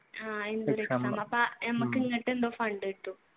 ആഹ് ഞമ്മക്ക് ഇങ്ങാട്ട് എന്തോ fund കിട്ടും